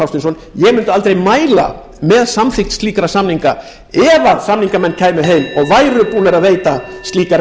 hafsteinsson ég mundi aldrei mæla með samþykkt slíkra samninga ef samningamenn kæmu heim og væru búnir að veita slíkar